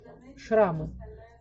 шрамы